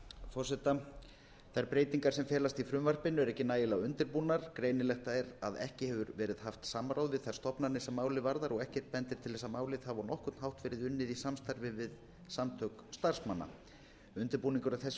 forseta fyrsta þær breytingar sem felast í frumvarpinu eru ekki nægilega undirbúnar greinilegt er að ekki hefur verið haft samráð við þær stofnanir sem málið varðar og ekkert bendir til þess að málið hafi á nokkurn hátt verið unnið í samstarfi við samtök starfsmanna undirbúningur að þessu